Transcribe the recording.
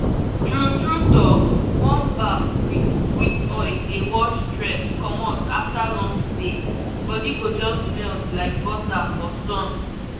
true true talk warm bath with sweet oil dey wash stress commot after long day body go just melt like butter for sun.